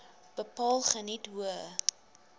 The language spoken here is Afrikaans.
bepaal geniet hoë